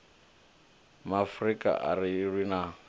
maafrika a ri lwi na